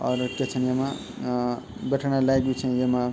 और क्या छन येमा बैठण लायक बि छन येमा।